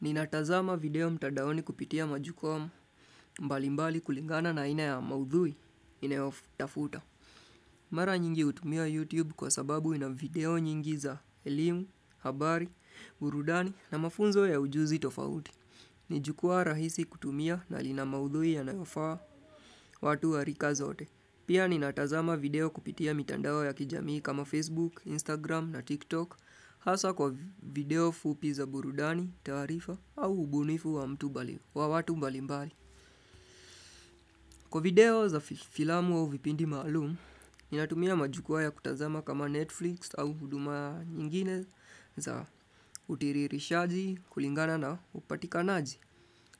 Ninatazama video mtandaoni kupitia majikom mbalimbali kulingana na aina ya maudhui ninayotafuta. Mara nyingi utumia YouTube kwa sababu ina video nyingi za elimu, habari, burudani na mafunzo ya ujuzi tofauti. Nijukua rahisi kutumia na ina maudhui yanayofaa watu wa rika zote. Pia ninatazama video kupitia mitandao ya kijamii kama Facebook, Instagram na TikTok hasa kwa video fupi za burudani, tarifa au ubunifu wa mtu bali, wa watu mbali mbali. Kwa video za filamu vipindi maalum, ninatumia majukua ya kutazama kama Netflix au huduma nyingine za utiririshaji kulingana na upatikanaji.